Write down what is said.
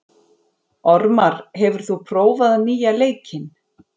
Ormar, hefur þú prófað nýja leikinn?